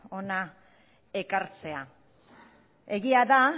hona ekartzea egia da